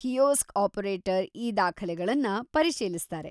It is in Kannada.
ಕಿಯೋಸ್ಕ್‌ ಆಪರೇಟರ್‌ ಈ ದಾಖಲೆಗಳನ್ನ ಪರಿಶೀಲಿಸ್ತಾರೆ.